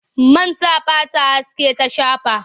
Man sa fata haske ta shafa.